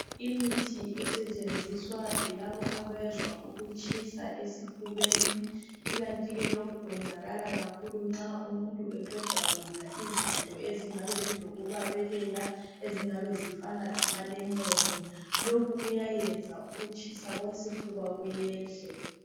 Imithi esetshenziswa yilabo abezwa ukutshiswa esifubeni ikanti lokhu kuyenzakala nxa umuntu eqeda kudla izinto ezingabe zilokubabelela ezingabe zifana lama lemon lokhu kuyayenza ukutshisa okwesifuba kuyehle